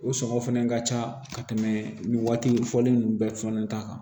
O sɔngɔ fɛnɛ ka ca ka tɛmɛ nin waati fɔlen ninnu bɛɛ fɔnɔ ta kan